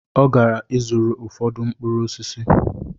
Ọ gara ịzụrụ ụfọdụ mkpụrụ osisi